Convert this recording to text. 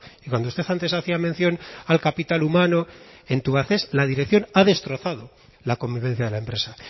y cuando usted antes hacía mención al capital humano en tubacex la dirección ha destrozado la convivencia de la empresa